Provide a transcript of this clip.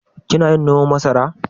Kina yin noman masara?